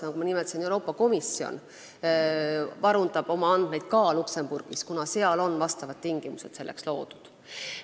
Nagu ma nimetasin, ka Euroopa Komisjon varundab oma andmeid Luksemburgis, kuna seal on tingimused selleks loodud.